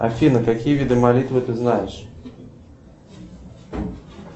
афина какие виды молитвы ты знаешь